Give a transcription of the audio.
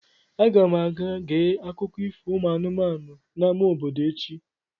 Aga m aga gee akụkọ ifo ụmụ anụmanụ n'amá obodo echi.